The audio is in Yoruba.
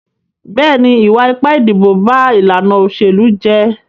Bẹ́ẹ̀ni, ìwà ipá ìdìbò ba ìlànà òṣèlú jẹ́.